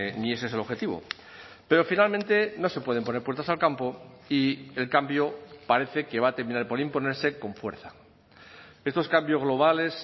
ni ese es el objetivo pero finalmente no se pueden poner puertas al campo y el cambio parece que va a terminar por imponerse con fuerza estos cambios globales